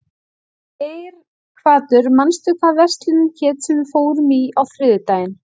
Geirhvatur, manstu hvað verslunin hét sem við fórum í á þriðjudaginn?